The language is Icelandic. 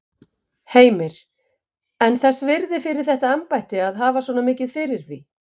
Heimir: En þess virði fyrir þetta embætti að hafa svona mikið fyrir því?